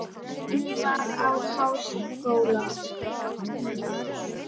Hún var í háskóla í